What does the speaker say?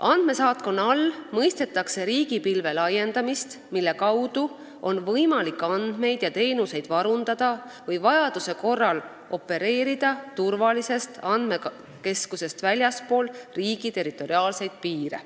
Andmesaatkonna all mõistetakse riigipilve laiendust, mille kaudu on võimalik andmeid ja teenuseid varundada või vajaduse korral käitada turvalises andmekeskuses väljaspool riigi territoriaalseid piire.